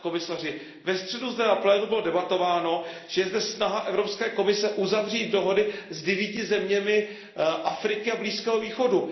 Pane komisaři, ve středu na plénu bylo debatováno o tom, že je zde snaha Evropské komise uzavřít dohody s devíti zeměmi Afriky a Blízkého východu.